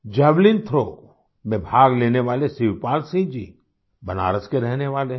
javelin throw में भाग लेने वाले शिवपाल सिंह जी बनारस के रहने वाले हैं